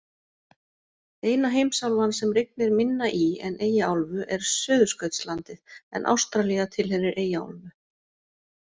Eina heimsálfan sem rignir minna í en Eyjaálfu er Suðurskautslandið en Ástralía tilheyrir Eyjaálfu.